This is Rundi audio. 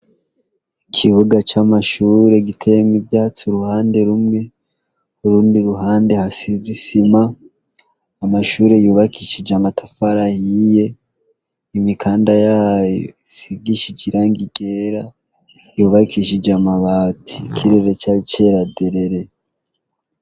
Ikibuga c'amashure giteyemwo ivyatsi uruhande rumwe, urundi ruhande hasize isima, amashure yubakishije amatafari ahiye, imikanda yayo isigishije irangi ryera, yubakishije amabati. Ikirere cayo cera derere.